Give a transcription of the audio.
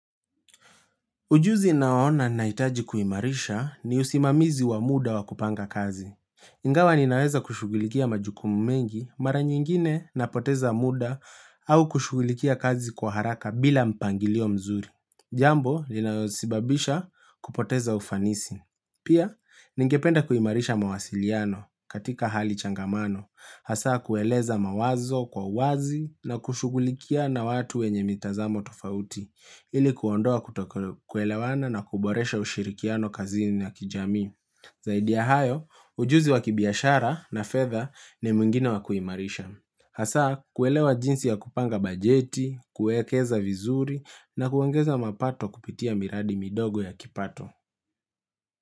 Ujuzi naoona naitaji kuimarisha ni usimamizi wa muda wa kupanga kazi. Ingawa ninaweza kushugulikia majukumu mengi mara nyingine napoteza muda au kushugulikia kazi kwa haraka bila mpangilio mzuri. Jambo, linaweza sibabisha kupoteza ufanisi. Pia, ningependa kuhimarisha mawasiliano katika hali changamano, hasa kueleza mawazo kwa wazi na kushugulikia na watu wenye mitazamo tofauti. Ili kuondoa kutokuelewana na kuboresha ushirikiano kazini ya kijami Zaidi ya hayo, ujuzi wa kibiashara na fedha ni muwigine waku imarisha Hasa, kuelewa jinsi ya kupanga bajeti, kuekeza vizuri na kuongeza mapato kupitia miradi midogo ya kipato.